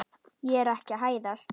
Ég er ekki að hæðast.